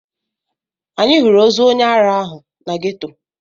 Anyị hụrụ ozu onye ara ahụ na ghetto.